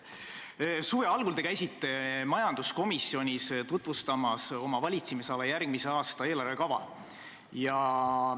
Suve algul te käisite majanduskomisjonis tutvustamas oma valitsemisala järgmise aasta eelarvekava.